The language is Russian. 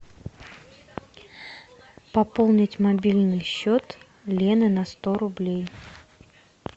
пополнить мобильный счет лены на сто рублей